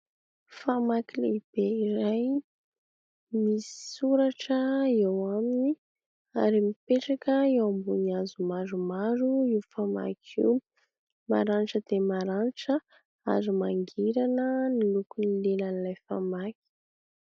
Famaky lehibe iray, misy soratra eo aminy ary mipetraka eo ambony hazo maromaro io famaky io. Maranitra dia maranitra ary mangirana ny lokon'ny lelan'ilay famaky.